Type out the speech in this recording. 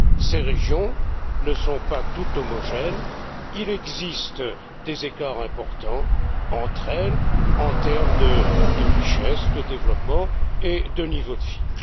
Ces régions ne sont pas toutes homogènes, il existe des écarts importants entre elles, en termes de richesse, de développement et de niveau de vie.